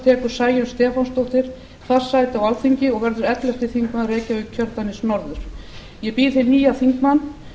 tekur sæunn stefánsdóttir fast sæti á alþingi og verður ellefti þingmaður reykjavíkurkjördæmis norður ég býð hinn nýja þingmann